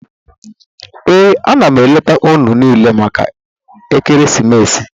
Ee, a na m eleta unu niile maka ekeresimesi.